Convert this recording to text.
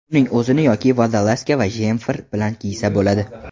Uning o‘zini yoki vodolazka va jemfer bilan kiysa bo‘ladi.